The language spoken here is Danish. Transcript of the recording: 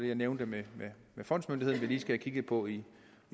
jeg nævnte med fondsmyndigheden vi lige skal have kigget på i